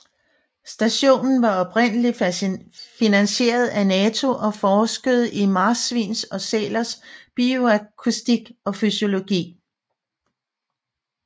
Stationen var oprindeligt finansieret af NATO og forskede i marsvins og sælers bioakustik og fysiologi